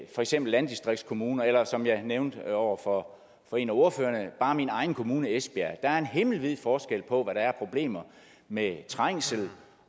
for eksempel landdistriktskommuner eller som jeg nævnte over for for en af ordførerne bare min egen kommune esbjerg der er himmelvid forskel på hvad der er af problemer med trængsel